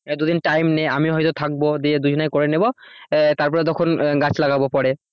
এবার দুদিন টাইম নে আমি হয়তো থাকবো দিয়ে দুজনে করে নেব আহ তারপরে তখন গাছ লাগাবো পরে।